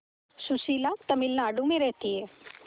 सुशीला तमिलनाडु में रहती है